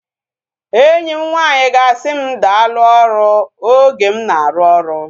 Enyi m nwanyị ga-asị m daalu ọrụ oge m na-arụ oru